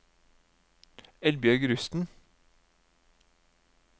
Eldbjørg Rusten